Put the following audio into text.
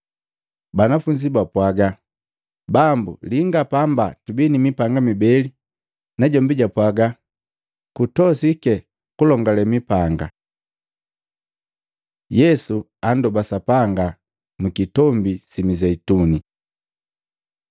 Banafunzi bapwaga, “Bambu linga pamba tubii ni mipanga mibele.” Najombi japwaga, “Kutosiki kulongale mipanga!” Yesu andoba Sapanga mwikitombi si Mizeituni Matei 26:36-46; Maluko 14:32-42